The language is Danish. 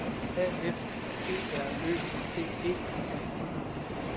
A F G R Ø D E